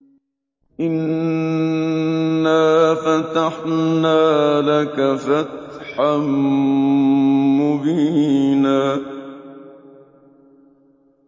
إِنَّا فَتَحْنَا لَكَ فَتْحًا مُّبِينًا